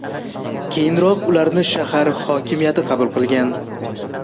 Keyinroq ularni shahar hokimiyati qabul qilgan.